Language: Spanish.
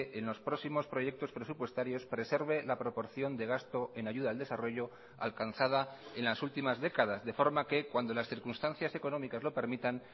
en los próximos proyectos presupuestarios preserve la proporción de gasto en ayuda al desarrollo alcanzada en las últimas décadas de forma que cuando las circunstancias económicas lo permitan